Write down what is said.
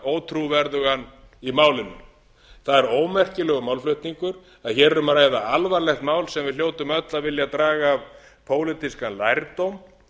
ótrúverðugan í málinu það er ómerkilegur málflutningur en hér er um að ræða alvarlegt mál sem við hljótum öll að vilja draga af pólitískan lærdóm